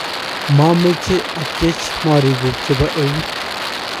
mameche atyech morikuk chebo eut